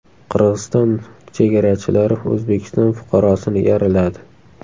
Qirg‘iziston chegarachilari O‘zbekiston fuqarosini yaraladi .